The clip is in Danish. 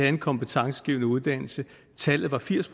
en kompetencegivende uddannelse tallet var firs